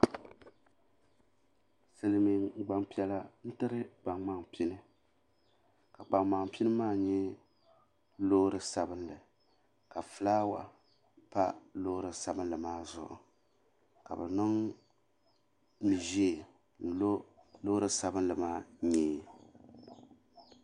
Silimiin gbampiɛla n tiri kpaŋmaŋ pini ka kpaŋmaŋ pini maa nyɛ loori sabinli ka filaawa pa loori sabinli maa zuɣu ka bɛ niŋ mia ʒee n lo loori sabinli maa nyɛɛ.